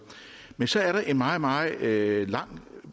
men så er der en meget meget lang